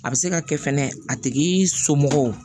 A bɛ se ka kɛ fɛnɛ a tigi somɔgɔw